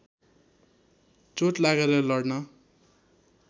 चोट लागेर लड्न